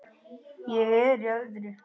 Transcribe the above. Ég er í öðru.